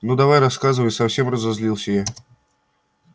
ну давай рассказывай совсем разозлилсь я